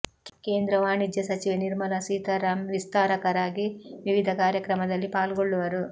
ಕೇಂದ್ರ ವಾಣಿಜ್ಯ ಸಚಿವೆ ನಿರ್ಮಲಾ ಸೀತಾರಾಮ್ ವಿಸ್ತಾರಕರಾಗಿ ವಿವಿಧ ಕಾರ್ಯಕ್ರಮದಲ್ಲಿ ಪಾಲ್ಗೊಳ್ಳುವರು